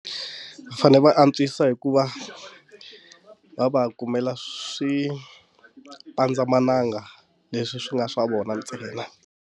Fane va antswisa hikuva va va kumela swi pandzamananga leswi swi nga swa vona ntsena.